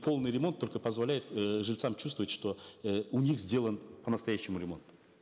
полный ремонт только позволяет э жильцам чувствовать что э у них сделан по настоящему ремонт